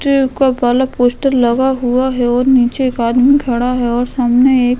poster लगा हुआ हैं और नीचे एक आदमी खड़ा हैं और सामने एक --